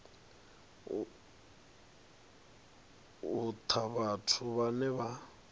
u ta vhathu vhane vha